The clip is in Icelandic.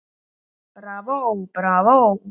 Bravó, bravó